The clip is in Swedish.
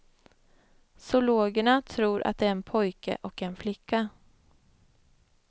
Zoologerna tror att det är en pojke och en flicka.